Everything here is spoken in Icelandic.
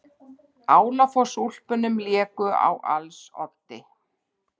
Álafossúlpunum léku á als oddi.